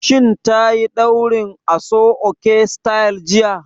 Shin tayi ɗaurin aso-oke sityl jiya?